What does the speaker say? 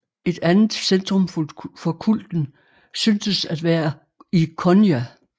Et andet centrum for kulten syntes at være i Konya